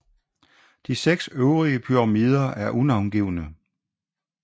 De seks øvrige pyramider er unavngivne